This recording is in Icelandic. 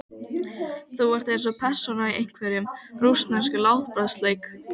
Þú ert eins og persóna í einhverjum. rússneskum látbragðsleik.